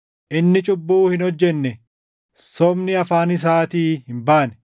“Inni cubbuu hin hojjenne; sobni afaan isaatii hin baane.” + 2:22 \+xt Isa 53:9\+xt*